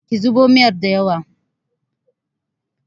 ki zubo miyar da yawa!